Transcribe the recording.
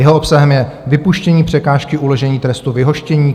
Jeho obsahem je vypuštění překážky uložení trestu vyhoštění.